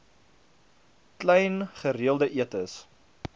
klein gereelde etes